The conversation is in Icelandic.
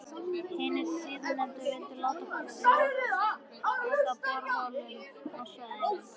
Hinir síðarnefndu vildu láta loka borholum á svæðinu.